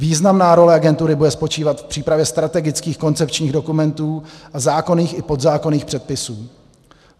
Významná role agentury bude spočívat v přípravě strategických koncepčních dokumentů a zákonných i podzákonných předpisů.